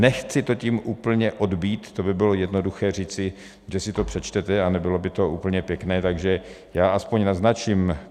Nechci to tím úplně odbýt, to by bylo jednoduché říci, že si to přečtete, a nebylo by to úplně pěkné, takže já aspoň naznačím.